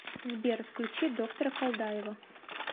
сбер включи доктора колдаева